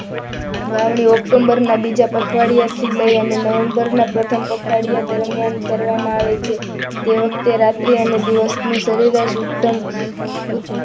વાવણી ઓક્ટોબરના બીજા પખવાડિયા થી લઈ અને નવેમ્બરના પ્રથમ પખવાડિયા દરમિયાન કરવામાં આવે છે. તે વખતે રાત્રિ અને દિવસની સરેરાશ ઉત્તમ